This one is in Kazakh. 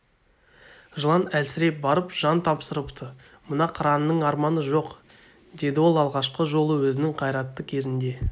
жылан әлсіреп барып жан тапсырыпты мына қыранның арманы жоқ деді ол алғашқы жолы өзінің қайратты кезінде